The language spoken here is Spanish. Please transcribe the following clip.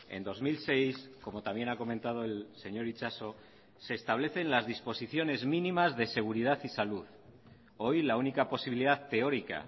en dos mil seis como también ha comentado el señor itxaso se establecen las disposiciones mínimas de seguridad y salud hoy la única posibilidad teórica